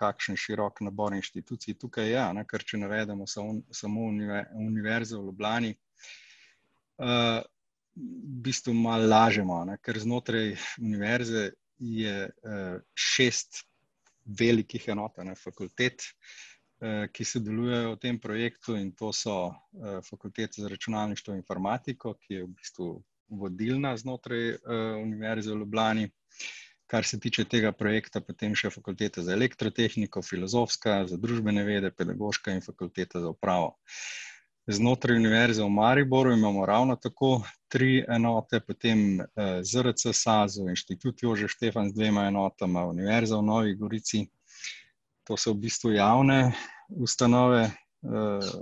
kakšen širok nabor inštitucij tukaj je, a ne, ker če navedemo samo samo Univerze v Ljubljani, v bistvu malo lažemo, a ne, ker znotraj univerze je, šest velikih enot, a ne, fakultet, ki sodelujejo v tem projektu, in to so, Fakulteta za računalništvo in informatiko, ki je v bistvu vodilna znotraj, Univerze v Ljubljani, kar se tiče tega projekta, potem še Fakulteta za elektrotehniko, Filozofska, za družbene vede, Pedagoška in Fakulteta za upravo. Znotraj Univerze v Mariboru imamo ravno tako tri enote, potem, ZRC SAZU, Institut Jožef Stefan z dvema enotama, Univerza v Novi Gorici. To so v bistvu javne ustanove,